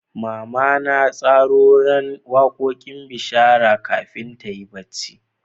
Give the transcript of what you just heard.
Mama na tsauraran waƙoƙin bishara kafin ta yin barci.